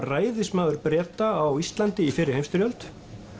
ræðismaður Breta á Íslandi í fyrri heimsstyrjöld